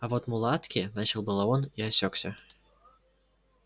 а вот мулатки начал было он и осёкся